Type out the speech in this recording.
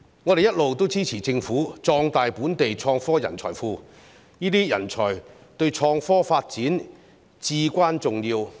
我們一直支持政府壯大本地創科人才庫，這些人才對創科發展至關重要。